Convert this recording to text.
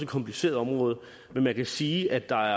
kompliceret område men man kan sige at der